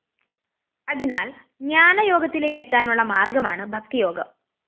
അതിനാല്‍ ജ്ഞാനയോഗത്തിലേക്കെത്താനുള്ള മാര്‍ഗമാണ് ഭക്തിയോഗം